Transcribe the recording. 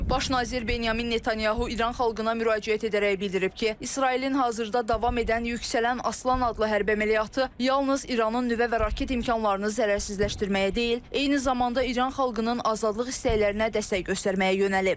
Baş nazir Benyamin Netanyahu İran xalqına müraciət edərək bildirib ki, İsrailin hazırda davam edən yüksələn aslan adlı hərbi əməliyyatı yalnız İranın nüvə və raket imkanlarını zərərsizləşdirməyə deyil, eyni zamanda İran xalqının azadlıq istəklərinə dəstək göstərməyə yönəlib.